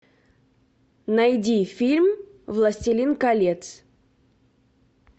найди фильм властелин колец